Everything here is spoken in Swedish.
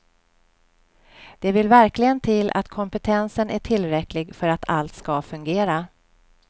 Det vill verkligen till att kompetensen är tillräcklig för att allt ska fungera.